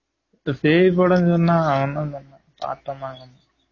இந்த பேய் படம் சொன்னான் அவன் தான் சொன்னான் பாத்துட்டு வந்து